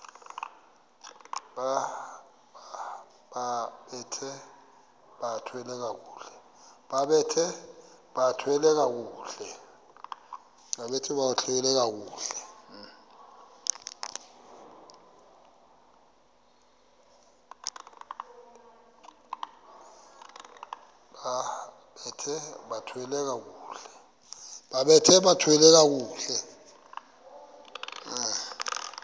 bambathe bathwale kakuhle